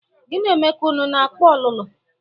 Gi na Emeka ụnụ na-akpa ọlụlụ?